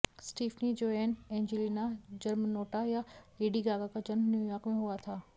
Stephanie Joanne Angelina Germanotta या Lady Gaga का जन्म न्यूयॉर्क में हुआ था